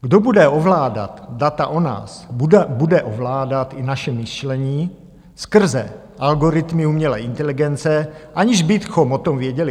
Kdo bude ovládat data o nás, bude ovládat i naše myšlení skrze algoritmy umělé inteligence, aniž bychom o tom věděli.